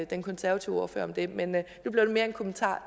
den konservative ordfører om det men nu blev det mere en kommentar